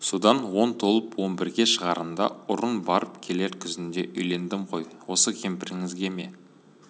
содан он толып он бірге шығарымда ұрын барып келер күзінде үйлендім ғой осы кемпіріңізге ме